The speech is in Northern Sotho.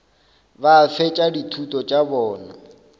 ba fetša dithuto tša bona